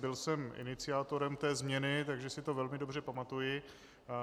Byl jsem iniciátorem té změny, takže si to velmi dobře pamatuji.